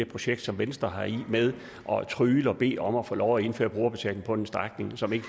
projekt som venstre har med om at trygle og bede om at få lov til at indføre brugerbetaling på en strækning som ikke